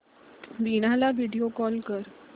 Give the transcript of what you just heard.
वीणा ला video call कर